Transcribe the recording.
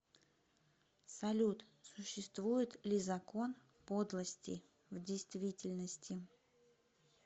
салют существует ли закон подлости в действительности